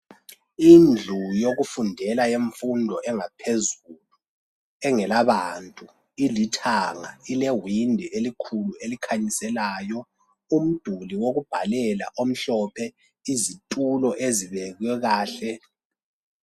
Indlu yokufundela yemfundo engaphezulu engela bantu ilithanga ilewindi elikhulu elikhanyiselayo umduli wokubhalela omhlophe izitulo ezibekwe kahle.